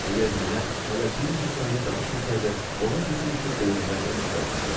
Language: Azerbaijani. Əgər nənə hələ bir neçə saniyə danışmasaydı, ola bilsin ki, beyninə qan sızaçaqdı.